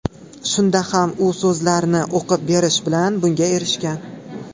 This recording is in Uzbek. Shunda ham, u so‘zlarni o‘qib berish bilan bunga erishgan.